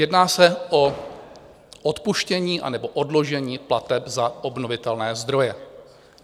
Jedná se o odpuštění anebo odložení plateb za obnovitelné zdroje.